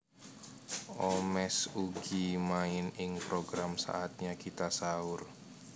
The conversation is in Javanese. Omesh ugi main ing program Saatnya Kita Sahur